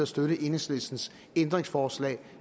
støtte enhedslistens ændringsforslag